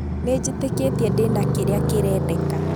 Nĩnjĩtekĩtie ndĩ na kĩrĩa kĩrendeka.